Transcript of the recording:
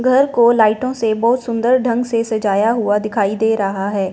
घर को लाइटों से बहोत सुंदर ढंग से सजाया हुआ दिखाई दे रहा है।